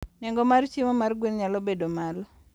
Nengo mar chiemo mar gwen nyalo bedo malo.